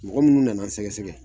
Mɔgɔ munnu nana an sɛgɛsɛgɛ